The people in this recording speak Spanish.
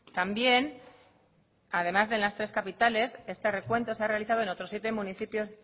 también además de en las tres capitales este recuento se ha realizado en otros siete municipios